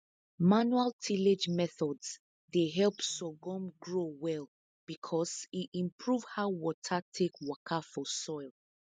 manual tillage methods dey help sorghum grow well because e improve how water take waka for soil